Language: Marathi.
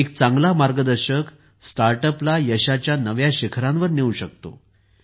एक चांगला मार्गदर्शक स्टार्टअपला यशाच्या नव्या शिखरांवर नेऊ शकतो